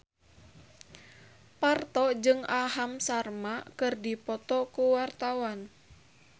Parto jeung Aham Sharma keur dipoto ku wartawan